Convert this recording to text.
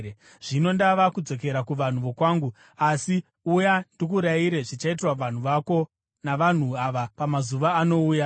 Zvino ndava kudzokera kuvanhu vokwangu, asi uya ndikuyambire zvichaitirwa vanhu vako navanhu ava pamazuva anouya.”